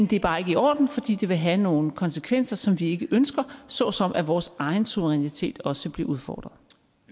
det er bare ikke i orden fordi det vil have nogle konsekvenser som vi ikke ønsker såsom at vores egen suverænitet også blev udfordret